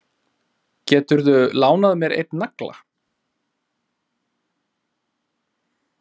Geturðu lánað mér einn nagla.